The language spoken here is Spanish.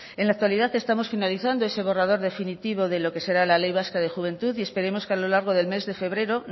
en la actualidad estamos finalizando eso borrador definitivo de lo que será la ley vasca de la juventud y esperemos que a lo largo del mes de febrero